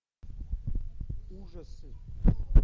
ужасы